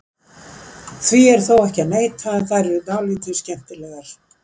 Því er þó ekki að neita að þær eru dálítið skemmtilegar.